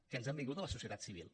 que ens han vingut de la societat civil